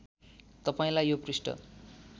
तपाईँलाई यो पृष्ठ